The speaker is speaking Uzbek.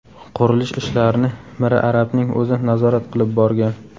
Qurilish ishlarini Miri Arabning o‘zi nazorat qilib borgan.